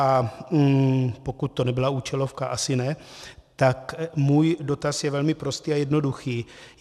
A pokud to nebyla účelovka, asi ne, tak můj dotaz je velmi prostý a jednoduchý: